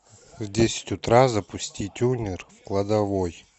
в десять утра запусти тюнер в кладовой